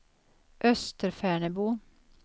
Österfärnebo